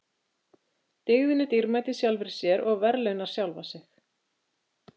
Dygðin er dýrmæt í sjálfri sér og verðlaunar sjálfa sig.